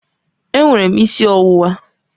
Enwere m isi ọwụwa